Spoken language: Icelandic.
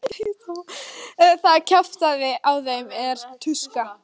Það kjaftaði á þeim hver tuska.